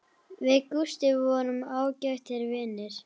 Við Gústi vorum ágætir vinir.